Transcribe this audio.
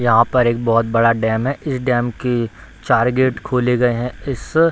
यहाँ पर एक बहुत बड़ा डैम है इस डैम की चार गेट खोले गए हैं इस --